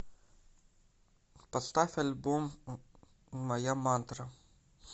поставь альбом моя мантра